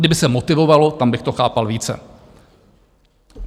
Kdyby se motivovalo, tam bych to chápal více.